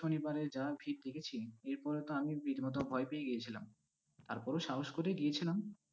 শনিবারে যা ভিড় দেখেছি, এরপরে তো আমি রীতিমতো ভয় পেয়ে গিয়েছিলাম, তারপরও সাহস করে গিয়েছিলাম।